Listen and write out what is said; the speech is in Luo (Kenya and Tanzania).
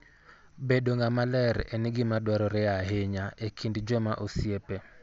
Bedo ng'ama ler en gima dwarore ahinya e kind joma osiepe.